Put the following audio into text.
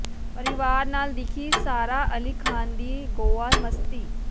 ਪਰਿਵਾਰ ਨਾਲ ਦਿਖੀ ਸਾਰਾ ਅਲੀ ਖਾਨ ਦੀ ਗੋਆ ਮਸਤੀ